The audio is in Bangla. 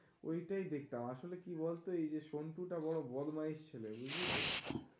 ওইটাই দেখতাম, আসলে কি বলতো? এইযে সঞ্জিতা বড় বদমাইস ছিল